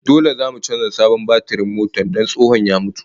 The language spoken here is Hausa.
Dole zamu canza sabon batirin motar don tsohon ya mutu